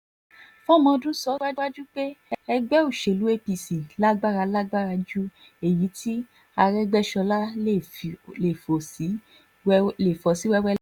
fọmọdún sọ síwájú pé ẹgbẹ́ òṣèlú apc lágbára lágbára ju èyí tí arégbèsọlá lè fò sí wéèwé lọ